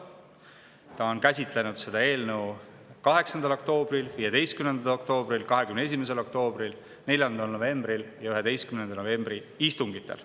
Ta on käsitlenud seda eelnõu 8. oktoobri, 15. oktoobri, 21. oktoobri, 4. novembri ja 11. novembri istungil.